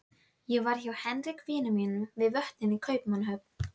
Ég var hjá Henrik vini mínum við Vötnin í Kaupmannahöfn.